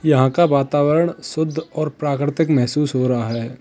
यहां का वातावरण शुद्ध और प्राकृतिक महसूस हो रहा है।